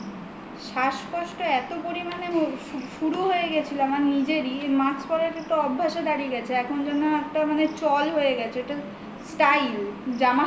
শ্বাসকষ্ট এত পরিমানে শুরু হয়ে গেছিল আমার নিজেরই mask পরাটাতো অভ্যেসে দাড়িয়ে গেছে এখন যেন একটা চল হয়ে গেছে একটা style জামার